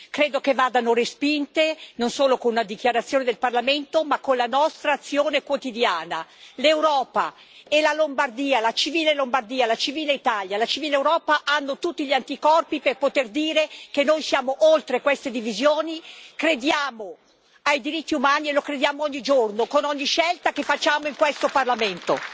Credo che vadano respinte, non solo con una dichiarazione del Parlamento ma con la nostra azione quotidiana. L'Europa e la Lombardia, la civile Lombardia, la civile Italia, la civile Europa hanno tutti gli anticorpi per poter dire che noi siamo oltre queste divisioni, che crediamo nei diritti umani e vi crediamo ogni giorno, con ogni scelta che facciamo in questo Parlamento.